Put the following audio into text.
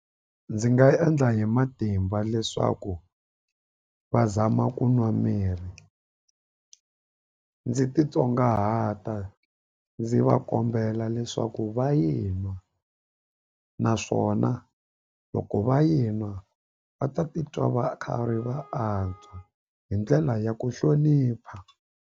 Ndzi nga endla hi matimba leswaku va zama ku nwa mirhi ndzi titsongahata ndzi va kombela leswaku va yi nwa naswona loko va yi nwa va ta titwa va khari va antswa hi ndlela ya ku hlonipha.